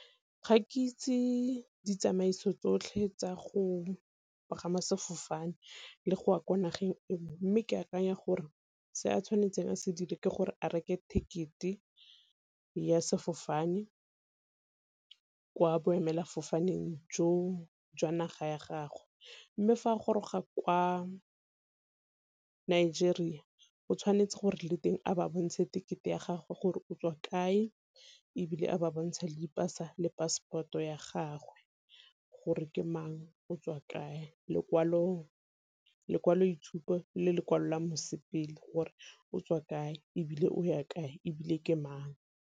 Ga ke itse ditsamaiso tsotlhe tsa go pagama sefofane le go ya ko nageng e nngwe, mme ke akanya gore se a tshwanetseng a se dire ke gore a reke ticket-e ya sefofane kwa boemela fofaneng jo jwa naga ya gagwe. Mme fa a goroga kwa Nigeria o tshwanetse gore le teng a ba bontshe ticket-e ya gagwe gore o tswa kae, ebile a ba bontshe le dipasa le passport-o ya gagwe. Gore ke mang, o tswa kae, lekwalo itshupo le lekwalo la mosepele gore o tswa kae, ebile o ya kae, ebile ke mang.